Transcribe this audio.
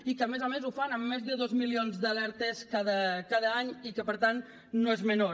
i que a més a més ho fan amb més de dos milions d’alertes cada any i que per tant no és menor